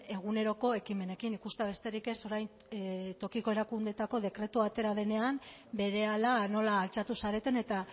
eguneroko ekimenekin ikustea besterik ez orain tokiko erakundeetako dekretua atera denean berehala nola altxatu zareten eta